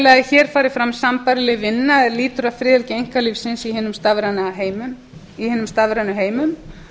að hér fari fram sambærileg vinna er lýtur að friðhelgi einkalífsins í hinum stafrænu heimum